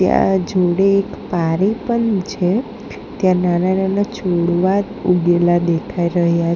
ત્યાં જૂની એક પારી પણ છે ત્યાં નાના નાના છોડવા ઉગેલા દેખાય રહ્યા--